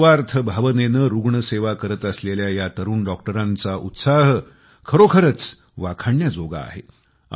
निस्वार्थ भावनेने रुग्णसेवा करत असलेल्या ह्या तरुण डॉक्टरांचा उत्साह खरोखरच वाखाणण्याजोगा आहे